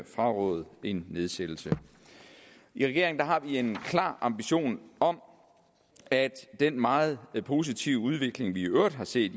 frarådede en nedsættelse i regeringen har vi en klar ambition om at den meget positive udvikling vi i øvrigt har set